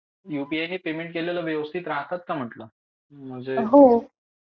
You P I नि payment केलेले व्यवस्थित राहतात का म्हटलं? म्हणजे